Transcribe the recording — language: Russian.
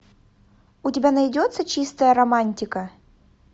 у тебя найдется чистая романтика